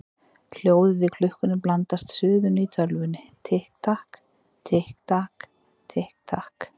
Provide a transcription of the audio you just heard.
Hljóðið í klukkunni blandast suðinu í tölvunni: Tikk takk, tikk takk, tikk takk.